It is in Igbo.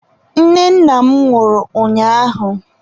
Nne nna m nwụrụ ụnyaahụ.